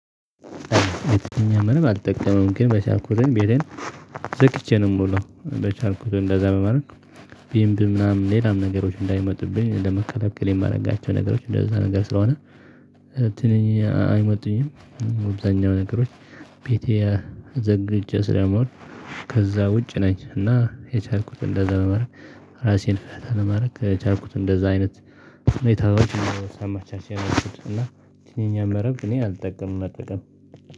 አልጠቀመም። ግን በቻልኩትም ቤቴን ዘግቼ ነው የምለው። በቻልኩትም እንደዛ መማርን ቢምቢ ምናምን ሌላም ነገሮች እንዳይመጡብኝ ለመከላከል የማደርጋቸው ነገሮች እንደዛ ነገር ስለሆነ ትንኝ አይመጡኝም። አብዛኛው ነገሮች ቤቴ ዘግቼ ስለምውል ከዛ ውጭ ነኝ። እና የቻልኩትን እንደዛ በማድረግ ራሴን ፍታ ለማድረግ ከቻልኩት እንደዛ አይነት ሁኔታዎች ሳመቻች ያልኩት እና ይሄኛውን መረብ እኔ አልጠቀምም። መጠቀም